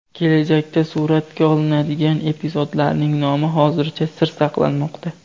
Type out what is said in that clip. Kelajakda suratga olinadigan epizodlarning nomi hozircha sir saqlanmoqda.